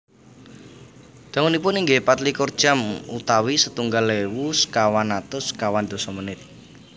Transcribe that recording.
Dangunipun inggih patlikur jam utawi setunggal ewu sekawan atus sekawan dasa menit